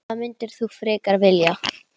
Hvað myndir þú frekar vilja?